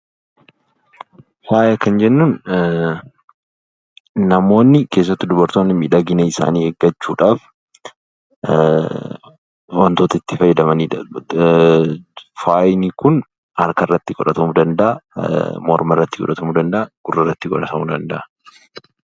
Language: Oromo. Faaya kan jennuun namoonni keessattuu dubartoonni miidhagina isaanii eeggachuudhaaf wantoota itti fayyadaman dha. Faayi kun harka irratti godhatamuu danda'a, morma irratti godhatamuu danda'a, gurra irratti godhatamuu danda'a.